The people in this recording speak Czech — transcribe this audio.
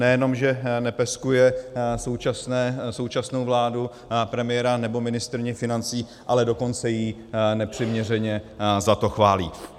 Nejenom že nepeskuje současnou vládu, premiéra nebo ministryni financí, ale dokonce ji nepřiměřeně za to chválí.